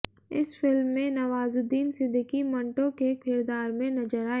इस फिल्म में नवाजुद्दीन सिद्दीकी मंटो के किरदार में नजर आए